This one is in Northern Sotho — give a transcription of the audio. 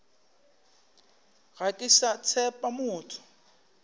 ga ke sa tshepa motho